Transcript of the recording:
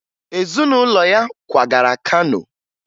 Ezunụlọ ya kwagara Kano